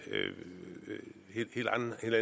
er